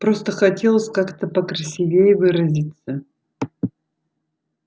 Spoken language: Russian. просто хотелось как-то покрасивее выразиться